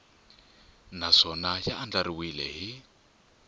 nkhaqato naswona ya andlariwile hi